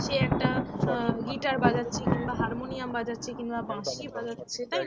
সে একটা গিটার বাজাচ্ছে কিংবা হারমোনিয়াম বাজাচ্ছে কিংবা বাঁশি বাজাচ্ছে